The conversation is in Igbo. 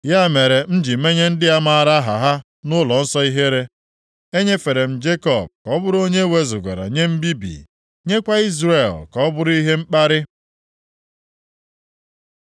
Ya mere, m ji menye ndị a maara aha ha nʼụlọnsọ ihere. Enyefere m Jekọb ka ọ bụrụ onye ewezugara nye mbibi, nyekwa Izrel ka ọ bụrụ ihe mkparị.